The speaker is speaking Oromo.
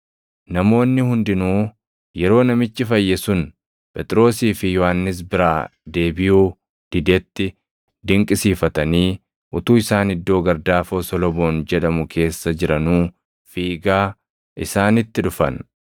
Namoonni hundinuu yeroo namichi fayye sun Phexrosii fi Yohannis biraa deebiʼuu didetti dinqisiifatanii utuu isaan iddoo gardaafoo Solomoon jedhamu keessa jiranuu fiigaa isaanitti dhufan.